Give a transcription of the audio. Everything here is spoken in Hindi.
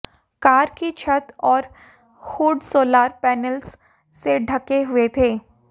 कार की छत और हुड सोलार पेनल्स से ढंके हुए थे